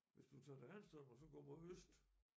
Hvis du tager til Hanstholm og så går mod øst